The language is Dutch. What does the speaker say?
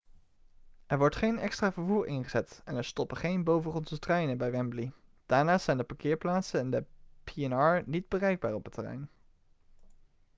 er wordt geen extra vervoer ingezet en er stoppen geen bovengrondse treinen bij wembley daarnaast zijn de parkeerplaatsen en de p&r niet bereikbaar op het terrein